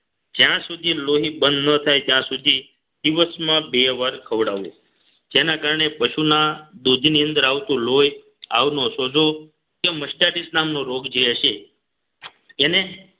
જ્યાં સુધી લોહી બંધ ન થાય ત્યાં સુધી દિવસમાં બે વાર ખવડાવો જેના કારણે પશુના દૂધની અંદર આવતું હોય આવનો સોજો કે mercedes રોગ જે હશે એને